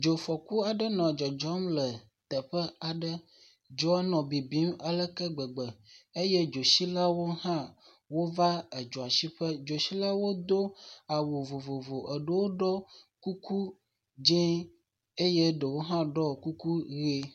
Dzofɔku aɖe nɔ dzɔdzɔm le teƒe aɖe. Dzoa nɔ bibim aleke gbegbe eye dzotsilawo hã wova dzoa tsi ƒe. Dzotsilawo do awu vovovo. Dewo ɖui kuku dzɛ̃ eye ɖewo hã ɖɔ kuku ʋie.